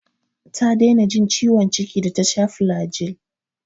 Ta daina jin ciwon ciki da ta sha flagyl.